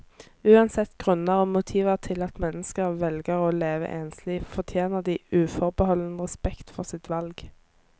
Uansett grunner og motiver til at mennesker velger å leve enslig, fortjener de uforbeholden respekt for sitt valg.